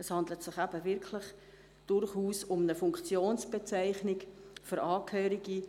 Es handelt sich durchaus um eine Funktionsbezeichnung für Angehörige des